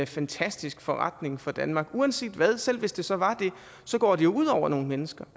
fantastisk forretning for danmark uanset hvad selv hvis det så var det så går det ud over nogle mennesker